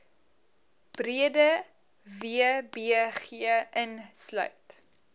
breede wbg insluit